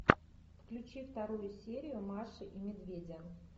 включи вторую серию маши и медведя